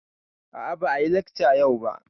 A a ba a yi lekca yau ba.